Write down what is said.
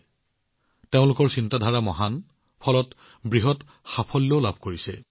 তেওঁলোকে ডাঙৰ চিন্তা কৰি আছে আৰু বৃহৎ সফলতা লাভ কৰিছে